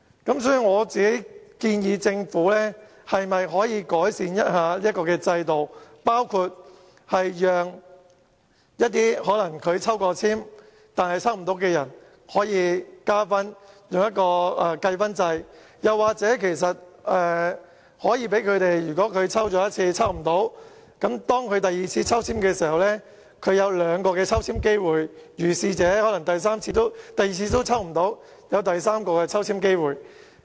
因此，我建議政府改善這個制度，包括加入計分制，讓一些曾抽籤但抽不到的申請人可以加分，或是在第一次抽不到之後，可在第二次抽籤時獲兩次抽籤機會，甚至在第二次也抽不到時，還有第三次抽籤機會。